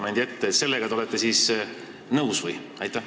Kas te sellega olete siis nõus või?